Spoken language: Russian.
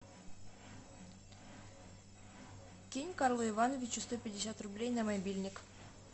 кинь карлу ивановичу сто пятьдесят рублей на мобильник